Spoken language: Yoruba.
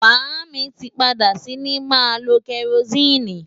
Màámi tí padà sí ní máa lo kerosene.